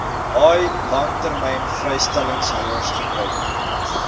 haai langlynvrystellingshouers gebruik